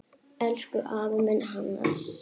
Elsku afi minn, Hannes.